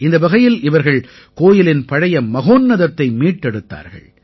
இந்த வகையில் இவர்கள் கோயிலின் பழைய மகோன்னதத்தை மீட்டெடுத்தார்கள்